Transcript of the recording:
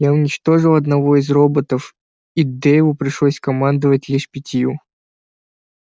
я уничтожил одного из роботов и дейву пришлось командовать лишь пятью